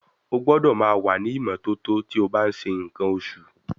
Ó gbọ́dọ̀ máa wà ní ìmọ́tótó tí ó bá ń ṣe nǹkan oṣù.